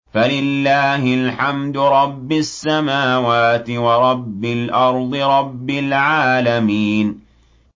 فَلِلَّهِ الْحَمْدُ رَبِّ السَّمَاوَاتِ وَرَبِّ الْأَرْضِ رَبِّ الْعَالَمِينَ